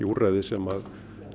úrræði sem